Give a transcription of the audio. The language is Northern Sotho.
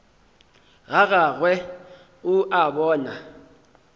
ga gagwe o a bona